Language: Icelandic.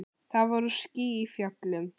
Það voru ský í fjöllum.